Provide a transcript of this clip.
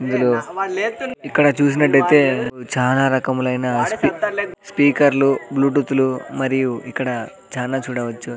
ఇందులో ఇక్కడ చూసినట్లు అయితే చానా రకములైన స్పి స్పీకర్ లు బ్లూటూత్ లు మరియు ఇక్కడ చానా చూడవచ్చు.